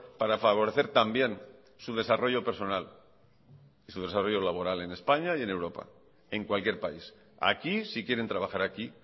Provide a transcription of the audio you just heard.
para favorecer también su desarrollo personal y su desarrollo laboral en españa y en europa en cualquier país aquí si quieren trabajar aquí